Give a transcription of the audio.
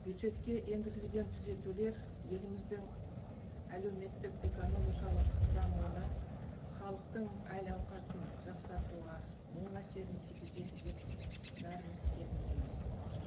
бюджетке енгізілген түзетулер еліміздің әлеуметтік экономикалық дамуына халықтың әл ауқатын жақсартуға оң әсерін тигізеді деп бәріміз сенімдіміз